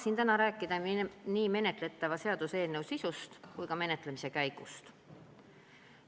Tahan täna rääkida nii menetletava seaduseelnõu sisust kui ka menetlemise käigust.